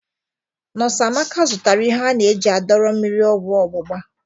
Nọs Amaka zụtara ihe a na-eji adọrọ mmiri ọgwọ ọgbụgba.